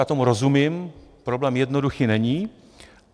Já tomu rozumím, problém jednoduchý není.